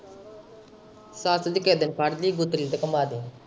ਸੱਸ ਦੀ ਕੇਹੇ ਦਿਨ ਫੜ ਲਈ ਗੁੱਤੜੀ ਤੇ ਘੁੰਮਾ ਦੀ।